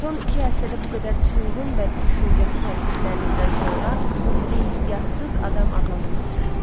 Son iki həftədə bu qədər çılğın və düşüncəsiz hərəkətlərinizdən sonra sizi hisssiz adam adlandırmaq çətindir.